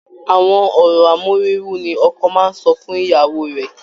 Àwọn ọ̀rọ̀ amóríwú ni ọkọ máa ń sọ fún ìyàwó rẹ̀